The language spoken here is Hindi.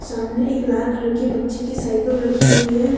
सामने एक लाल कलर की बच्चे की साइकल रखी हुई है।